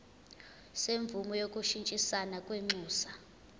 semvume yokushintshisana kwinxusa